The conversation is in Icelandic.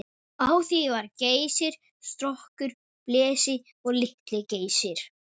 Á því var Geysir, Strokkur, Blesi og Litli-Geysir.